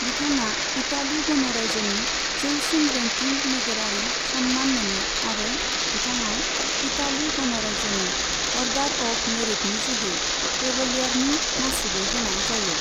बिथाङा इटालि गणराज्यनि जौसिन रैंकिंग नोगोरारि सन्मान मोनो आरो बिथाङा इटालि गणराज्यनि अर्डार अफ मेरिटनि जोहै कैवलियारनि मासिबो होनाय जायो।